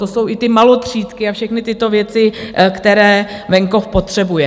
To jsou i ty malotřídky a všechny tyto věci, které venkov potřebuje.